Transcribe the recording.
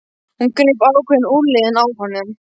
Hún greip ákveðin í úlnliðinn á honum.